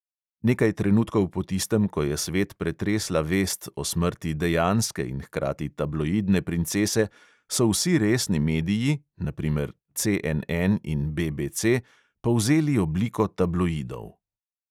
Nekaj trenutkov po tistem, ko je svet pretresla vest o smrti dejanske in hkrati tabloidne princese, so vsi resni mediji, na primer CNN in BBC, povzeli obliko tabloidov.